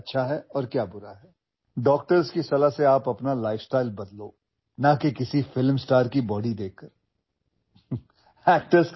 तुम्ही तुमची जीवनशैली डॉक्टरांच्या सल्ल्याने बदला एखाद्या अभिनेत्याची शरीरयष्टी पाहून तसे करू नका